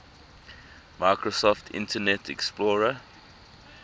microsoft internet explorer